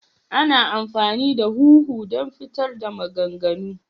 Ana amfani da huhu don fitar da maganganu.